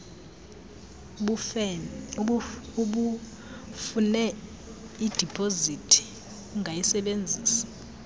ubufune idipozithi ungayisebenzisa